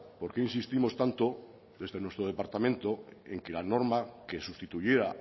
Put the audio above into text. porqué insistimos tanto desde nuestro departamento en que la norma que sustituyera